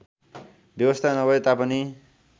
व्यवस्था नभए तापनि